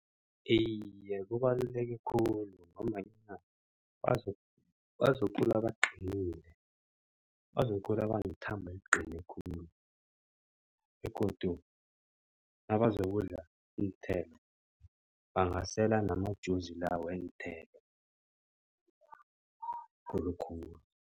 Iye, kubaluleke khulu ngombanyana bazokukhula baqinile. Bazokukhula banethambo eliqine khulu begodu nabazokudla iinthelo bangasela nama-juice la weenthelo khulukhulu.